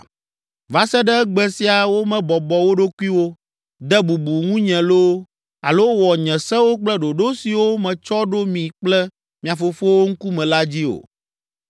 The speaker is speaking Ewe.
Va se ɖe egbe sia womebɔbɔ wo ɖokuiwo, de bubu ŋunye loo, alo wɔ nye sewo kple ɖoɖo siwo metsɔ ɖo mi kple mia fofowo ŋkume la dzi o.